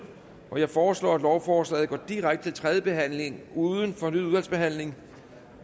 jeg foreslår at lovforslaget går direkte til tredje behandling uden fornyet udvalgsbehandling